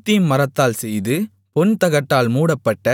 சீத்திம் மரத்தால் செய்து பொன் தகட்டால் மூடப்பட்ட